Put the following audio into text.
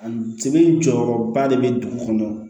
A sɛbɛn jɔyɔrɔba de bɛ dugu kɔnɔ